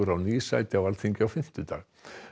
á ný sæti á Alþingi á fimmtudag